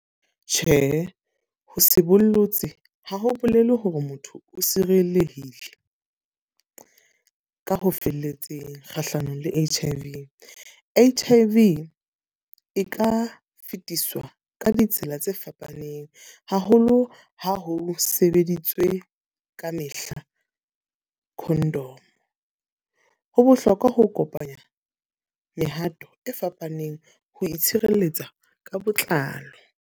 Tjhe, ho se bollotse ha ho bolele hore motho o sireletsehile ka ho felletseng kgahlanong le H_I_V. H_I_V e ka fitiswa ka ditsela tse fapaneng. Haholo ha ho sebeditswe kamehla condom. Ho bohlokwa ho kopanya mehato e fapaneng ho itshireletsa ka botlalo.